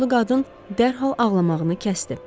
Yaşlı qadın dərhal ağlamağını kəsdi.